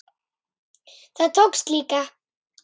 Það tókst líka.